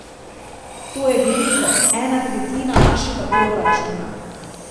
To je veliko, ena tretjina našega proračuna.